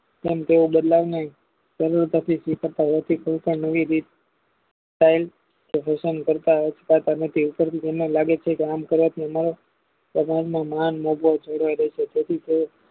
તેમ તેઓ બદલાવ ને કરતા નથી લાગે છે કે આમ કરવાથી